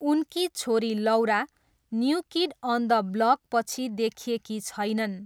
उनकी छोरी Laura 'new kid on the block' पछि देखिएकी छैनन्।